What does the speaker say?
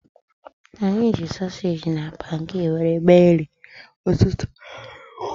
Anyị ji sosage na pankeki wéré mee nri ụtụtụ